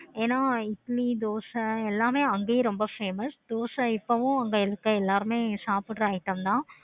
ஏன இட்லி, தோசை எல்லாமே ரொம்ப அங்கையும் famous தோசை இப்பவும் அங்க இருக்க எல்லாருமே சாப்பிடுற item தான்